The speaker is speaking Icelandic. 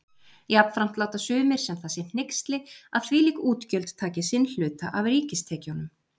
Jafnframt láta sumir sem það sé hneyksli, að þvílík útgjöld taki sinn hluta af ríkistekjunum.